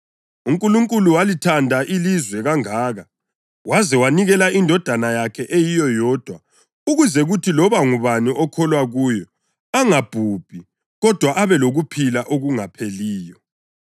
UNkulunkulu walithanda ilizwe kangaka waze wanikela iNdodana yakhe eyiyo yodwa ukuze kuthi loba ngubani okholwa kuyo angabhubhi, kodwa abe lokuphila okungapheliyo.